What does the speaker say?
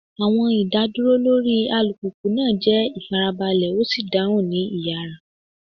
Awọn idaduro lori alupupu naa jẹ ifarabalẹ o si dahun ni iyara.